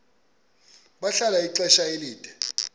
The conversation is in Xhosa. bahlala ixesha elide